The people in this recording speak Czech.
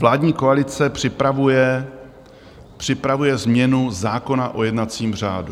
Vládní koalice připravuje změnu zákona o jednacím řádu.